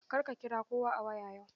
Kar ki kira kowa a waya yau!